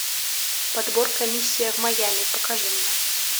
подборка миссия в майами покажи мне